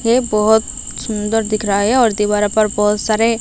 ये बहुत सुंदर दिख रहा है और दीवारों पर बहुत सारे--